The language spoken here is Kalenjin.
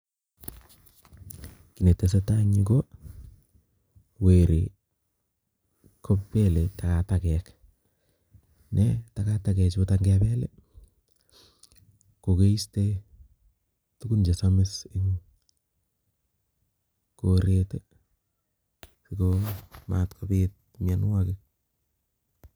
Kiy ne tesetai en yuu, ko werii, kobele takatakek. Ne takatakek chutok ng'ebel, kokeiste tugun che samis en koret, ago matkobit myanwogik